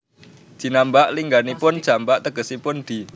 Jinambak lingganipun jambak tegesipun di